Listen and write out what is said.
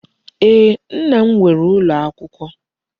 Ee, Nna m nwere Ulo Okuko